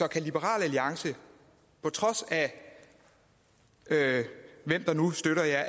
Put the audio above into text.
kan liberal alliance på trods af hvem der nu støtter jer